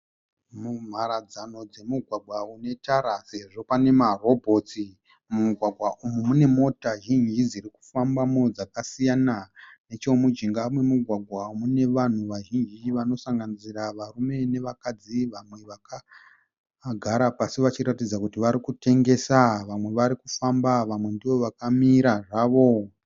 Mumaradzano dzemugwagwa une tara uyezve pane marobhotsi. Mumugwagwa umu mune mota zhinji dziri kufambamo dzakasiyana. Nechemujinga memugwagwa mune vanhu vazhinji vanosanganisira varume nevakadzi. Vamwe vakagara pasi vachiratidza kuti vari kutengesa. Vamwe vari kufamba, vamwe ndovakamira zvavo.